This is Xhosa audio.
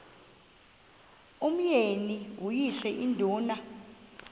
umyeni uyise iduna